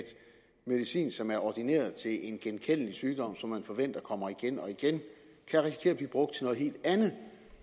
medicin som er ordineret til en genkendelig sygdom som man forventer kommer igen og igen kan risikere brugt til noget helt andet